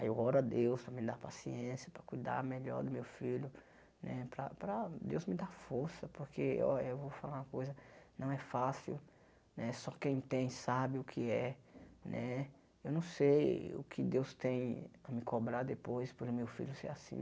Aí eu oro a Deus para me dar paciência, para cuidar melhor do meu filho né, para para Deus me dar força, porque olha eu vou falar uma coisa, não é fácil né, só quem tem sabe o que é né. Eu não sei o que Deus tem para me cobrar depois pelo meu filho ser assim.